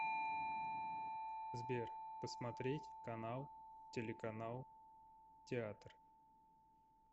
сбер посмотреть канал телеканал театр